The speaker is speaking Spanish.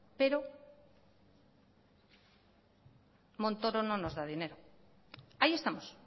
pero montoro no nos da dinero ahí estamos